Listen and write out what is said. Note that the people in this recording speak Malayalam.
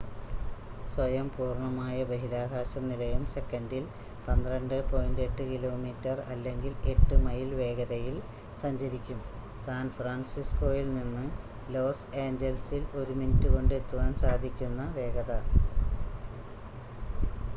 സ്വയം പൂർണ്ണമായ ബഹിരാകാശ നിലയം സെക്കൻഡിൽ 12.8 കിലോമീറ്റർ അല്ലെങ്കിൽ 8 മൈൽ വേഗതയിൽ സഞ്ചരിക്കും സാൻഫ്രാൻസിസ്കോയിൽ നിന്ന് ലോസ് ഏഞ്ചൽസിൽ ഒരു മിനിറ്റ് കൊണ്ട് എത്തുവാൻ സാധിക്കുന്ന വേഗത